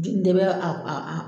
Ji dɛmɛ